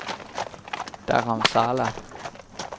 Dharamsala